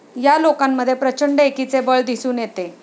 या लोकांमध्ये प्रचंड एकीचे बळ दिसून येते.